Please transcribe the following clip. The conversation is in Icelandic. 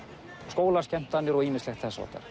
skólaskemmtanir og ýmislegt